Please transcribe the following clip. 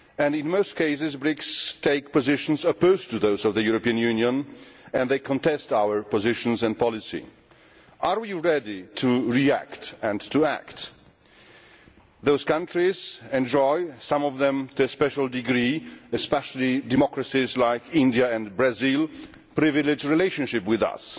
In most cases the BRICS take positions opposed to those of the European Union and they contest our positions and policy. Are we ready to react and to act? Those countries enjoy some of them to a special degree, especially democracies like India and Brazil a privileged relationship with us.